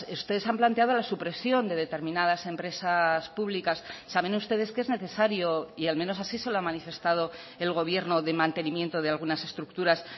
ustedes han planteado la supresión de determinadas empresas públicas saben ustedes que es necesario y al menos así se lo ha manifestado el gobierno de mantenimiento de algunas estructuras